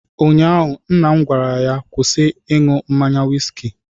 Ụnyaahụ nna m gwara ya, kwụsị ịṅụ mmanya wiski